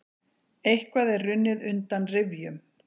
Eitthvað er runnið undan rifjum